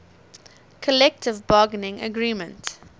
collective bargaining agreement